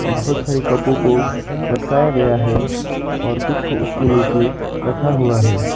बहुत सारी कपो को लटकाया गया है और कुछ को उसके नीचे रखा हुआ है।